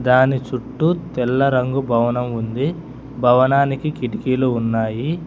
దాని చుట్టూ తెల్ల రంగు భవనం ఉంది భవనానికి కిటికీలు ఉన్నాయి.